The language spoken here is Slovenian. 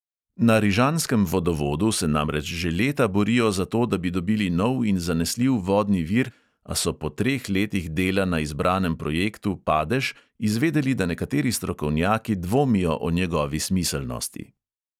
Na rižanskem vodovodu se namreč že leta borijo za to, da bi dobili nov in zanesljiv vodni vir, a so po treh letih dela na izbranem projektu padež izvedeli, da nekateri strokovnjaki dvomijo o njegovi smiselnosti.